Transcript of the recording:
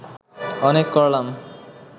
অনেক করলাম